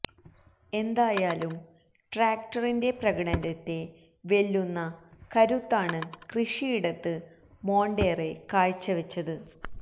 എന്തായാലും ട്രാക്ടറിന്റെ പ്രകടനത്തെ വെല്ലുന്ന കരുത്താണ് കൃഷിയിടത്തില് മോണ്ടേറെ കാഴ്ച വെച്ചത്